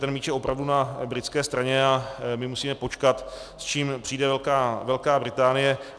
Ten míč je opravdu na britské straně a my musíme počkat, s čím přijde Velká Británie.